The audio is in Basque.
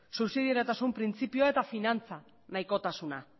subsidiotasun printzipioa eta finantza nahikotasuna